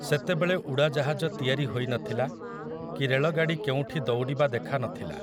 ସେତେବେଳେ ଉଡ଼ାଜାହାଜ ତିଆରି ହୋଇନଥିଲା, କି ରେଳଗାଡ଼ି କେଉଁଠି ଦୌଡ଼ିବା ଦେଖା ନଥିଲା ।